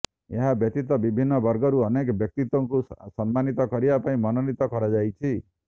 ଏହା ବ୍ୟତୀତ ବିଭିନ୍ନ ବର୍ଗରୁ ଅନେକ ବ୍ୟକ୍ତିତ୍ବଙ୍କୁ ସମ୍ମାନିତ କରିବା ପାଇଁ ମନୋନୀତ କରାଯାଇଛି